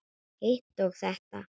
Hitt og þetta.